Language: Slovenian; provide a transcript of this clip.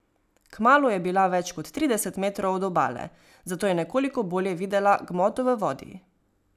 Kmalu je bila več kot trideset metrov od obale, zato je nekoliko bolje videla gmoto v vodi.